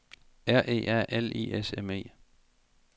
R E A L I S M E